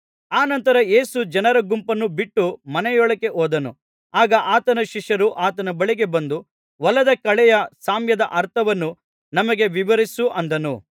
ಅನಂತರ ಯೇಸು ಜನರ ಗುಂಪನ್ನು ಬಿಟ್ಟು ಮನೆಯೊಳಗೆ ಹೋದನು ಆಗ ಆತನ ಶಿಷ್ಯರು ಆತನ ಬಳಿಗೆ ಬಂದು ಹೊಲದ ಕಳೆಯ ಸಾಮ್ಯದ ಅರ್ಥವನ್ನು ನಮಗೆ ವಿವರಿಸು ಅಂದರು